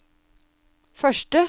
første